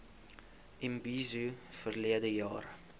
imbizo verlede jaar